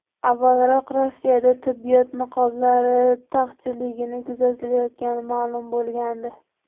Avvalroq Rossiyada tibbiyot niqoblari taqchilligi kuzatilayotgani ma’lum bo‘lgandi.